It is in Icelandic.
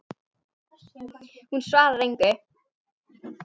Hún svarar engu.